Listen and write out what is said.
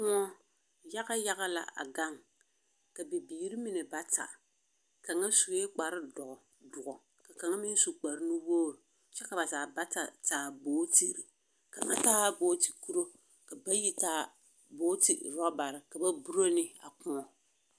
Kõͻ yaga yaga la a gaŋ, ka bibiiri mine bata kaŋa sue kpare dõͻ ka kaŋa meŋ su kpare nuwogiri kyԑ ka zaa bata taa bootiri. Kaŋa taa booti-kuru ka bayi taa booti-oorͻbare ka ba boro ne a kõͻ.